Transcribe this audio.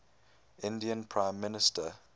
indian prime minister